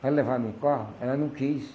Para levar no carro, ela não quis.